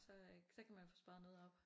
Så øh så kan man få sparet noget op